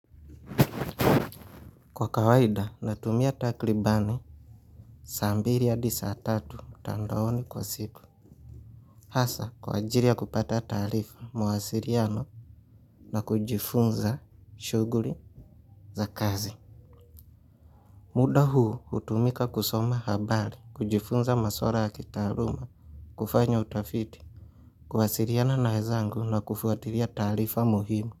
Kwa kawaida natumia takribani saa mbili hadi saa tatu mtandaoni kwa siku. Hasa kwa ajili ya kupata taarifa mawasiliano na kujifunza shughuli za kazi. Muda huu hutumika kusoma habari, kujifunza maswala ya kitaaluma, kufanya utafiti, kuwasiliana na wezangu na kufuatilia taarifa muhimu.